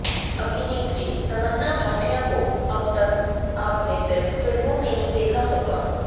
अभिनेत्री तमन्ना भाटिया को अबतक आपने सिर्फ फिल्मों में ही देखा होगा